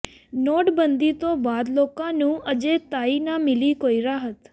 ਨੋਟਬੰਦੀ ਤੋਂ ਬਾਅਦ ਲੋਕਾਂ ਨੂੰ ਅਜੇ ਤਾਈਂ ਨਾ ਮਿਲੀ ਕੋਈ ਰਾਹਤ